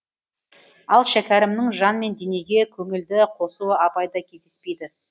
ал шәкәрімнің жан мен денеге көңілді қосуы абайда кездеспейді